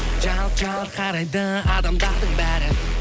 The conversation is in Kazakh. жалт жалт қарайды адамдардың бәрі